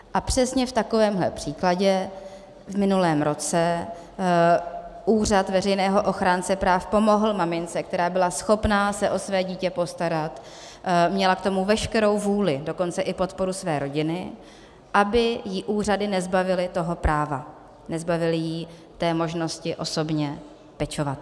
A přesně v takovémhle případě v minulém roce Úřad veřejného ochránce práv pomohl mamince, která byla schopna se o své dítě postarat, měla k tomu veškerou vůli, dokonce i podporu své rodiny, aby ji úřady nezbavily toho práva, nezbavily ji té možnosti osobně pečovat.